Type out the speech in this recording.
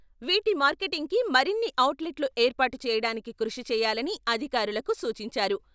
వీటి మార్కెటింగ్కి మరిన్ని ఔట్ లెట్లు ఏర్పాటు చేయడానికి కృషి చేయాలని అధికారులకు సూచించారు.